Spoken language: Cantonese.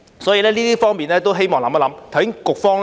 所以，就這方面，希望政府能思考。